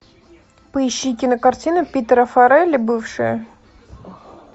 поищи кинокартину питера фаррелли бывшие